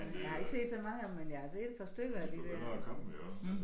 Jeg har ikke set så mange af dem men jeg har set et par stykker af de der